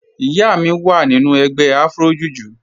Ìyá mi wá nínu ègbè Afro-Jùjú